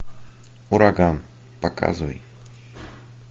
ураган показывай